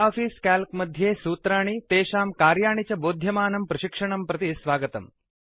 Libre Office Calc मध्ये सूत्राणि तेषां कार्याणि च बोध्यमानं प्रशिक्षणं प्रति स्वागतम्